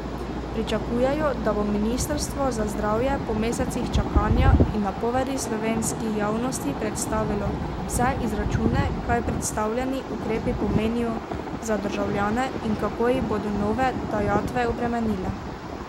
Pričakujejo, da bo ministrstvo za zdravje po mesecih čakanja in napovedi slovenski javnosti predstavilo vse izračune, kaj predstavljeni ukrepi pomenijo za državljane in kako jih bodo nove dajatve obremenile.